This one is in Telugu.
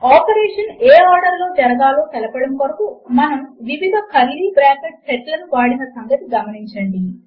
ఆపరేషన్ ఏ ఆర్డర్ లో జరగాలో తెలపడము కొరకు మనము వివిధ కర్లీ బ్రాకెట్ల సెట్ లను వాడిన సంగతి గమనించండి